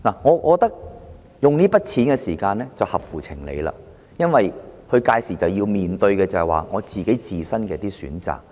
我覺得在此時動用這筆錢是合乎情理的，因為他屆時面對的是自身的選擇。